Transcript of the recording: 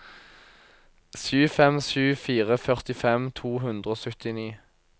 sju fem sju fire førtifem to hundre og syttini